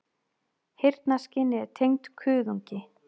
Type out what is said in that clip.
Heyrnarskynið er tengt kuðungi.